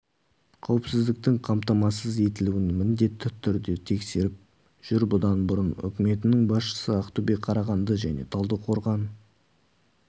қауіпсіздіктің қамтамасыз етілуін міндетті түрде тексеріп жүр бұдан бұрын үкіметінің басшысы ақтөбе қарағанды және талдықорған